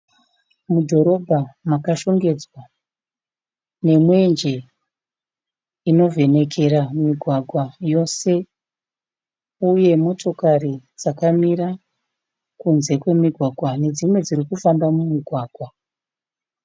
Mudhorobha makashongedzwa nemwenje inovhenekera migwagwa yose. Uye motokari dzakamira kunze kwemigwagwa nedzimwe dzirikufamba mumigwagwa.